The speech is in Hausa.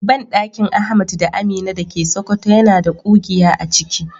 Bandakin Ahmad da Amina dake Sokoto yana da kugiya aciki.